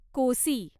Kosi